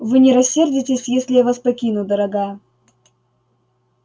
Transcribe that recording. вы не рассердитесь если я вас покину дорогая